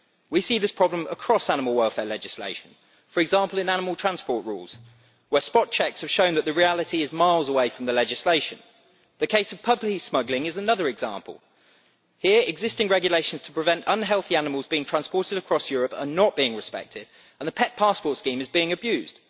We see this problem across animal welfare legislation, for example in animal transport rules, where spot checks have shown that the reality is miles away from the legislation. The case of puppy smuggling is another example here, existing regulations to prevent unhealthy animals being transported across Europe are not being respected and the pet passport scheme is being abused.